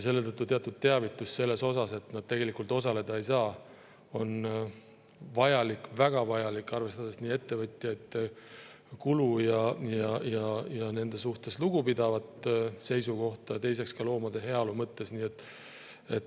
Selle tõttu on teatud teavitus sellest, et nad tegelikult osaleda ei saa, vajalik, väga vajalik, arvestades ettevõtjate kulu ja nende suhtes lugupidavat seisukohta, ning ka loomade heaolu mõttes.